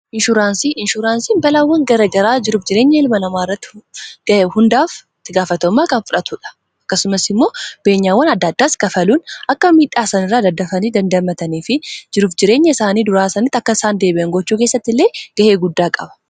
inshuraansiin balaawwan garagaraa jiruf jireenya ilma namaa irratti ga'ee hundaaf tigaafatammaa kan fudhatuudha akkasumas immoo beenyaawwan adda addaas kafaluun akka miidhaasan irraa daddafanii dandamatanii fi jiruf-jireenya isaanii duraasanitti akka isaan deebi'an gochuu keessatti illee ga'ee guddaa qaba